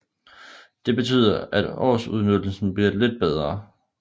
Det betyder at årsudnyttelsen bliver lidt bedre